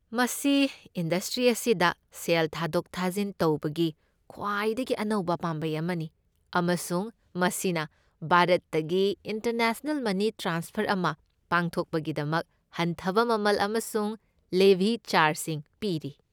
ꯃꯁꯤ ꯏꯟꯗꯁꯇ꯭ꯔꯤ ꯑꯁꯤꯗ ꯁꯦꯜ ꯊꯥꯗꯣꯛ ꯊꯥꯖꯤꯟ ꯇꯧꯕꯒꯤ ꯈ꯭ꯋꯥꯏꯗꯒꯤ ꯑꯅꯧꯕ ꯄꯥꯝꯕꯩ ꯑꯃꯅꯤ, ꯑꯃꯁꯨꯡ ꯃꯁꯤꯅ ꯚꯥꯔꯠꯇꯒꯤ ꯏꯟꯇꯔꯅꯦꯁꯅꯦꯜ ꯃꯅꯤ ꯇ꯭ꯔꯥꯟꯁꯐꯔ ꯑꯃ ꯄꯥꯡꯊꯣꯛꯄꯒꯤꯗꯃꯛ ꯍꯟꯊꯕ ꯃꯃꯜ ꯑꯃꯁꯨꯡ ꯂꯦꯚꯤ ꯆꯥꯔꯖꯁꯤꯡ ꯄꯤꯔꯤ꯫